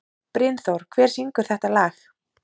Brynþór, hver syngur þetta lag?